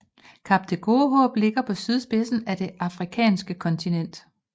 Kap det Gode Håb ligger på sydspidsen af det afrikanske kontinent